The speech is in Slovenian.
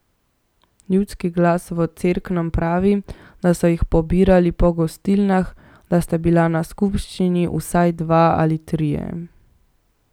Ljudski glas v Cerknem pravi, da so jih pobirali po gostilnah, da sta bila na skupščini vsaj dva ali trije.